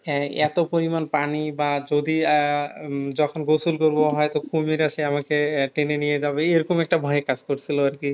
হ্যাঁ, এত পরিমাণ পানি বা যদি আহ উম যখন গোসল করব হয়তো কুমির এসে আমাকে আহ টেনে নিয়ে যাবে এরকম একটা ভয় কাজ করছিল আর কি